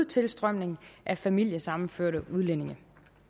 tilstrømning af familiesammenførte udlændinge